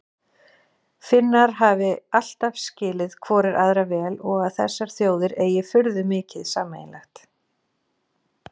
Finnar hafi alltaf skilið hvorir aðra vel og að þessar þjóðir eigi furðu mikið sameiginlegt.